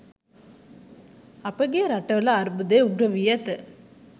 අපගේ රටවල අර්බුදය උග්‍ර වී ඇත